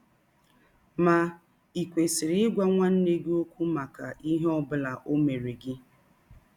Ma ì kwesịrị ịgwa nwanne gị ọkwụ maka ihe ọ bụla ọ mere gị?